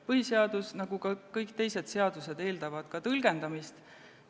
Põhiseadus nagu ka kõik teised seadused eeldab tõlgendamist.